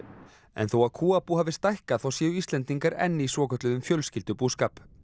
en þó að kúabú hafi stækkað þá séu Íslendingar enn í svokölluðum fjölskyldubúskap